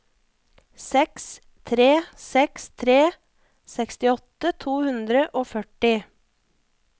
seks tre seks tre sekstiåtte to hundre og førti